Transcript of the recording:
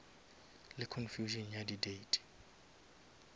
le confusion ya di date